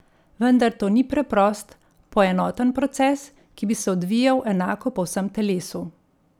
Vendar to ni preprost, poenoten proces, ki bi se odvijal enako po vsem telesu.